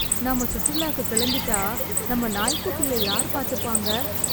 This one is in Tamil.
நாம சுற்றுலாக்கு கிளம்பிட்டா நம்ம நாய்க்குட்டிய யார் பாத்துப்பாங்க?